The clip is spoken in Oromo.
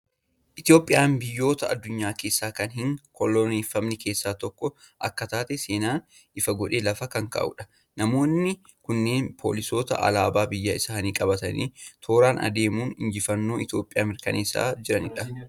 Itoophiyaan biyyoota addunyaa keessaa kan hin koloneeffamne keessaa tokko akka taate, seenaan ifa godhee lafa kan kaa'udha. Namoonni kunneen poolisoota alaabaa biyya isaanii qabatanii, tooraan adeemuun injifannoo Itoophiyaa mirkaneessaa jiranidha.